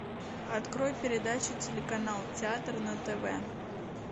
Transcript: открой передачу телеканал театр на тв